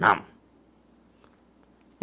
Não.